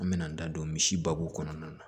An me na n da don misi babu kɔnɔna na